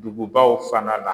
Dugubaw fana la